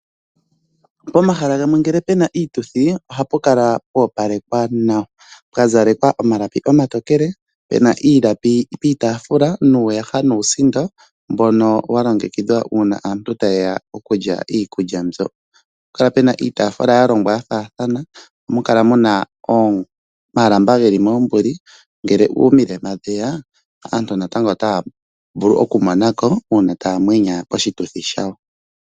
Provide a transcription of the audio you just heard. Pomahala gamwe ngele Peña iituthi ohapu kala pwa opalekwa nawa pwa zalekwa omalapi omatookele Peña iilapi piitaafula nuuna ya nuusindo mbono wa longekidhwa uuna aantu taye ya okulya iikulya mbyo. Ohapu kala puna iitaafula ya longwa ya faathana, ohamu kala muna omalamba geli moombuli ngele omilema dheya aantu natango otaya vulu oku mona ko uuna taya mwenya oshituthi shawo.